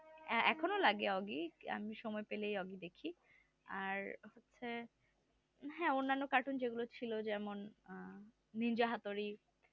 এখন লাগে ওগি আমি সময় পেলেই ওগি দেখি। আর হচ্ছে হ্যাঁ অন্যান্য cartoon যেগুলা ছিল যেমন নিনজা হাতুড়ি